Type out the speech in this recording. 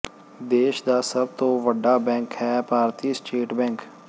ਦੇਸ਼ ਦਾ ਸਭ ਤੋਂ ਵੱਡਾ ਬੈਂਕ ਹੈ ਭਾਰਤੀ ਸਟੇਟ ਬੈਂਕ